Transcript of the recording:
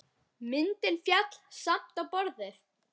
Myndin féll samt á borðið.